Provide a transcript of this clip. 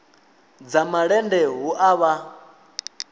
dza malende hu a vha